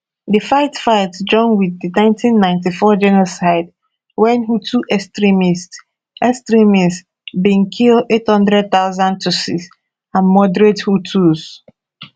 di fightfight join wit di 1994 genocide wen hutu extremists extremists bin kill 800000 tutsis and moderate hutus